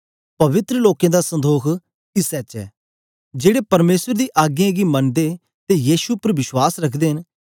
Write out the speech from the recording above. पवित्र लोकें दा संदोख इसै च ऐ जेड़े परमेसर दी आग्यें गी मनदे ते यीशु उपर बश्वास रखदे न